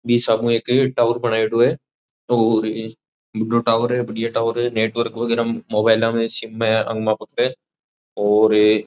बी हिसाब हु एक टावर बनायडो है और बड्डो टावर है बढ़िया टावर है नेटवर्क वगेरा मोबाइला में सिम में आवन वास्ते और --